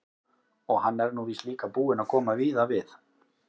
Og hann er nú víst líka búinn að koma víða við.